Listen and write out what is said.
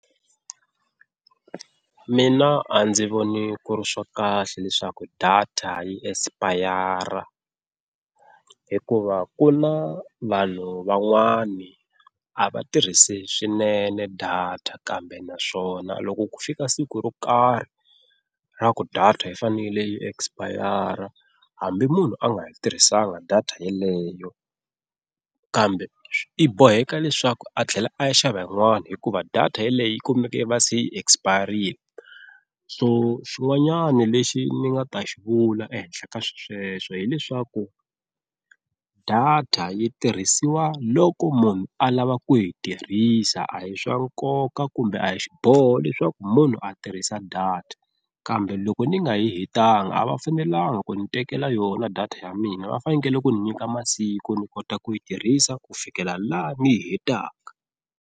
Mina a ndzi voni ku ri swa kahle leswaku data yi expire hikuva ku na vanhu van'wana a va tirhisi swinene data kambe naswona, loko ku fika siku ro karhi ra ku data yi fanele yi expire hambi munhu a nga yi tirhisanga data yeleyo kambe i boheka leswaku a tlhela a ya xava yin'wana hikuva data yeleyo yi kumeke va se yi expire-ini. Xin'wanyana lexi ni nga ta xi vula ehenhla ka swisweswo hileswaku data yi tirhisiwa loko munhu a lava ku yi tirhisa a hi swa nkoka kumbe a hi xiboho leswaku munhu a tirhisa data, kambe loko ni nga yi hetanga a va fanelanga ku ni tekela yona data ya mina va fanekele ku ni nyika masiku ni kota ku yi tirhisa ku fikela laha ni yi hetaka.